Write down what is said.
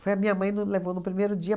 Foi a minha mãe no levou no primeiro dia.